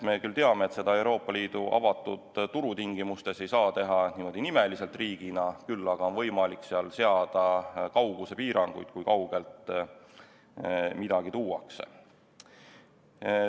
Me teame, et Euroopa Liidu avatud turu tingimustes ei saa seda teha nimeliselt, riigina, küll aga on võimalik seada kaugusepiiranguid, kui kaugelt midagi tuuakse.